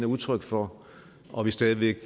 udtryk for og at vi stadig væk